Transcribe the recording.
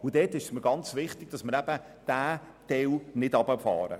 In diesem Bereich ist es mir sehr wichtig, dass wir diesen Teil nicht einschränken.